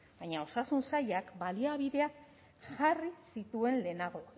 baina osasun sailak baliabideak jarri zituen lehenago